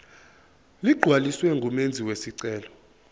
ligcwaliswe ngumenzi wesicelo